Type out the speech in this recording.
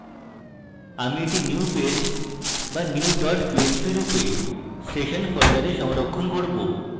আমি এটি new page বা new dot পিএইচপি রূপে সেশন folder সংরক্ষণ করব